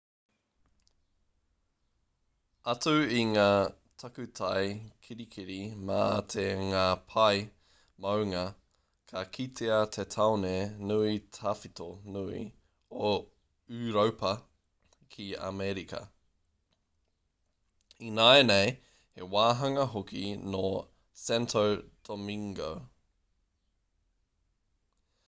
atu i ngā takutai kirikiri mā me ngā pae maunga ka kitea te taone nui tawhito nui o ūropa ki amerika ināianei he wāhanga hoki nō santo domingo